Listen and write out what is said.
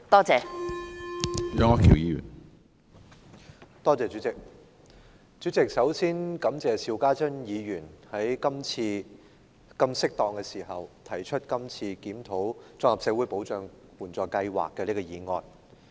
主席，首先感謝邵家臻議員今次在這麼適當的時候提出檢討綜合社會保障援助計劃的議案。